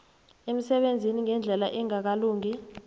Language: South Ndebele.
emsebenzini ngendlela engakalungi